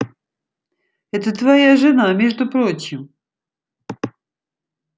это твоя жена между прочим